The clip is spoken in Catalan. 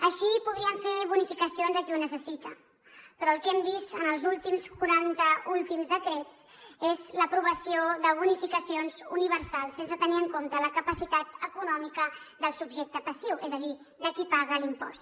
així podrien fer bonificacions a qui ho necessita però el que hem vist en els últims quaranta decrets és l’aprovació de bonificacions universals sense tenir en compte la capacitat econòmica del subjecte passiu és a dir de qui paga l’impost